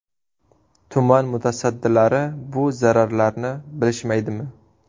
Tuman mutasaddilari bu zararlarni bilishmaydimi?